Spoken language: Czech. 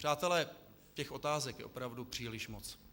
Přátelé, těch otázek je opravdu příliš moc.